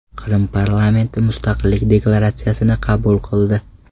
Qrim parlamenti mustaqillik deklaratsiyasini qabul qildi.